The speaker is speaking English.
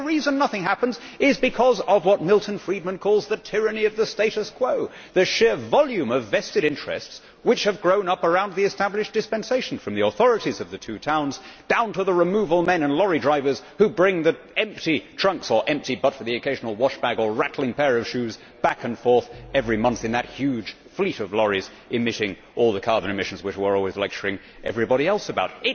The reason nothing happens is because of what Milton Friedman calls the tyranny of the status quo', the sheer volume of vested interests which have grown up around the established dispensation from the authorities of the two towns, down to the removal men and lorry drivers who bring the empty trunks or empty but for the occasional wash bag or rattling pair of shoes back and forth every month in that huge fleet of lorries emitting all the carbon emissions which we are always lecturing everybody else about.